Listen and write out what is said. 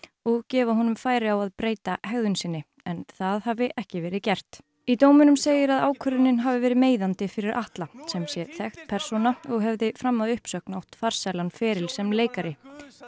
og gefa honum færi á að breyta hegðun sinni en það hafi ekki verið gert í dóminum segir að ákvörðunin hafi verið meiðandi fyrir Atla sem sé þekkt persóna og hafði fram að uppsögn átt farsælan feril sem leikari